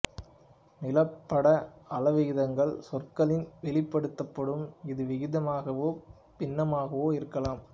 நிலப்பட அளவிகிதங்கள் சொற்களில் வெளிப்படுத்தப்படும் இது விகிதமாகவோ பின்னமாகவோ இருக்கலாம்